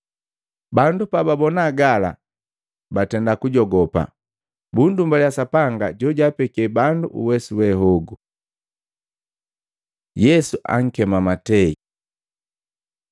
Bandu pababona gala, batenda kujogopa, bundumbaliya Sapanga jojaapeki bandu uwesu wehogu. Yesu ankema Matei Maluko 2:13-17; Luka 5:27-32